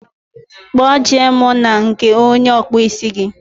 Kpo je mụ na nke onye okpu ísì gi